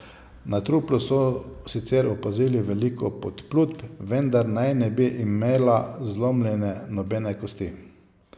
Na truplu so sicer opazili veliko podplutb, vendar naj ne bi imela zlomljene nobene kosti.